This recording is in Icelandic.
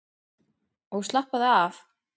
Og slappaðu af!